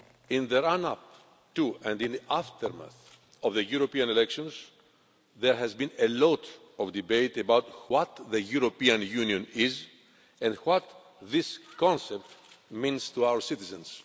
In the run up to, and in the aftermath of, the European elections there has been a lot of debate about what the European Union is and what this concept means to our citizens.